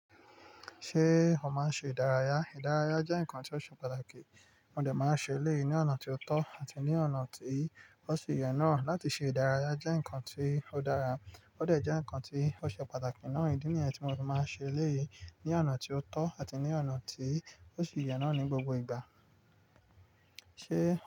Ṣé ó máa ń ṣe ìdárayá? Ìdárayá jẹ́ nǹkan tí ó ṣe pàtàkì, mó dẹ̀ máa ń ṣe eléyìí ní ọ̀nà tí ó tọ́ àti ní ọ̀nà tí ó sì yẹ náà. Láti ṣe ìdárayá jẹ́ nǹkan tí ó dára ó dẹ̀ jẹ́ nǹkan tí ó ṣe pàtàkì náà. Ìdí nìyẹn tí mo ti máa ń ṣe léyìí ní ọ̀nà tí ó tọ́ àti ní ọ̀nà tí ó sì yẹ náà ní gbogbo ìgbà. Ṣé?